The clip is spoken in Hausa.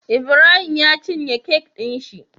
Ibrahim ya cine kek din shi